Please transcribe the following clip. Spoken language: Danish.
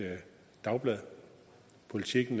dagblad politiken